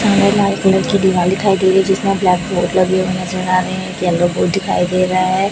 हमें लाल कलर की दीवार दिखाई दे रही है जिसमें ब्लैक कलर का व्यू नज़र आ रहे है येलो बोर्ड दिखाई दे रहा है।